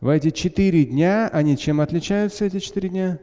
в эти четыре дня они чем отличаются эти четыре дня